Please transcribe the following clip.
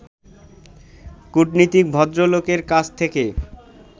কূটনীতিক ভদ্রলোকের কাছ থেকে